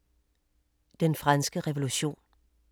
Den franske revolution